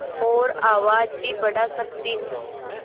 और आवाज़ भी बढ़ा सकती हूँ